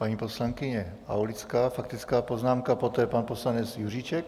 Paní poslankyně Aulická, faktická poznámka, poté pan poslanec Juříček.